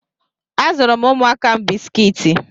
A zụụrụ m ụmụaka m bisikiti.